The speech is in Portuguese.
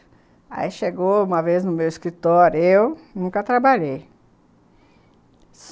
Aí chegou uma vez no meu escritório, eu nunca trabalhei.